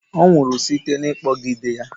Ọ nwụrụ site n'ịkpọgide ya.